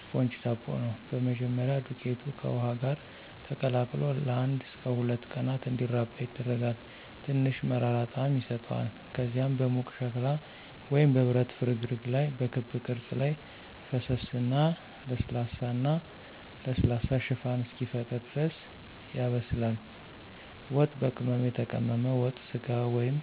ስፖንጅ ዳቦ ነው። በመጀመሪያ, ዱቄቱ ከውሃ ጋር ተቀላቅሎ ለአንድ እስከ ሁለት ቀናት እንዲራባ ይደረጋል, ትንሽ መራራ ጣዕም ይሰጠዋል. ከዚያም በሙቅ ሸክላ ወይም በብረት ፍርግርግ ላይ በክብ ቅርጽ ላይ ፈሰሰ እና ለስላሳ እና ለስላሳ ሽፋን እስኪፈጠር ድረስ ያበስላል. ዋት፣ በቅመም የተቀመመ ወጥ ስጋ ወይም